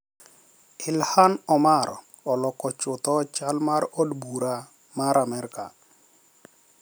Ilhan Omar oloko chutho chal mar Od Bura mar Amerka.